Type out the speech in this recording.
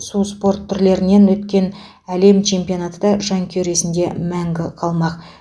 су спорт түрлерінен өткен әлем чемпионаты да жанкйүер есінде мәңгі қалмақ